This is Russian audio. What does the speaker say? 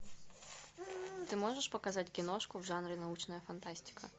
ты можешь показать киношку в жанре научная фантастика